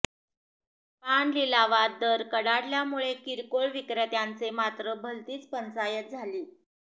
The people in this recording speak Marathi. पान लिलावात दर कडाडल्यामुळे किरकोळ विक्रेत्यांचे मात्र भलतीच पंचायत झाली